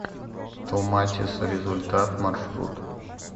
томатис результат маршрут